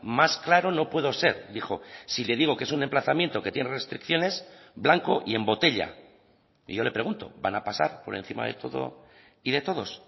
más claro no puedo ser dijo si le digo que es un emplazamiento que tiene restricciones blanco y en botella y yo le pregunto van a pasar por encima de todo y de todos